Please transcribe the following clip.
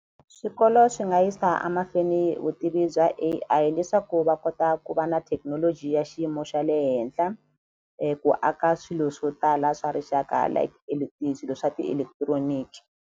Swikolo swi nga yisa a mahlweni vutivi bya A_I leswaku va kota ku va na thekinoloji ya xiyimo xa le henhla ku aka swilo swo tala swa rixaka like le swa ti-electronic.